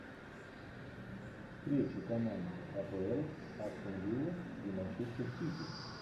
встречи команд апл астон вилла и манчестер сити